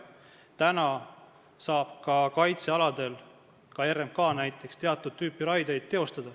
Täna saab näiteks RMK ka kaitsealadel teatud tüüpi raiet teha.